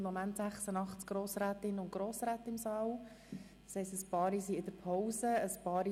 Im Moment sind 86 Ratsmitglieder im Saal.